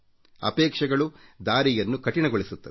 ಅಪೇಕ್ಷೆಗಳು ದಾರಿಯನ್ನು ಕಠಿಣಗೊಳಿಸುತ್ತವೆ